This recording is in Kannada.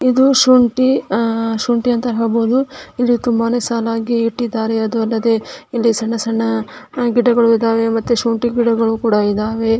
ಇದು ಶುಂಠಿ ಅಹ್ ಶುಂಠಿ ಅಂತ ಹೇಳ್ಬೋದು. ತುಂಬಾನೇ ಸಾಲಾಗಿ ಇಟ್ಟಿದಾರೆ ಅದು ಅಲ್ಲದೆ ಇಲ್ಲಿ ಸಣ್ಣ ಸಣ್ಣ ಗಿಡಗಳು ಇದಾವೆ ಮತ್ತೆ ಶುಂಠಿ ಗಿಡಗಳು ಕೂಡ ಇದಾವೆ.